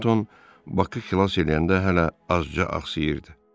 Torontoun Bakı xilas eləyəndə hələ azca axsayırdı.